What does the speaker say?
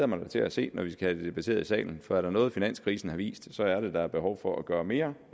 mig da til at se når vi skal have det debatteret i salen for er der noget finanskrisen har vist så er det at der er behov for at gøre mere